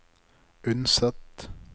Unset